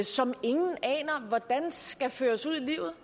som ingen aner hvordan skal føres ud i livet